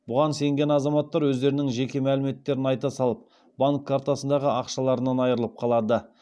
бұған сенген азаматтар өздерінің жеке мәліметтерін айта салып банк картасындағы ақшаларынан айырылып қалады